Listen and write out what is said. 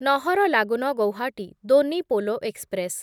Naharlagun Guwahati Donyi Polo express